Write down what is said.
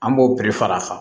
An b'o bɛɛ fara a kan